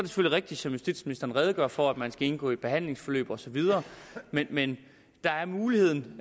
rigtigt som justitsministeren redegjorde for at man skal indgå i et behandlingsforløb osv men der er mulighed